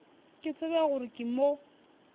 ke tsebe gore ke mo